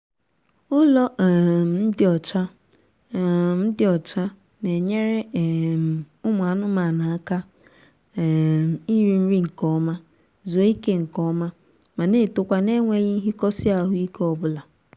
ụlọ um dị ọcha um dị ọcha na-enyere um ụmụ anụmaanụ aka um iri nri nkeọma zuo ike nkeọma ma na-etokwa n'enweghị nhikosi ahụike obula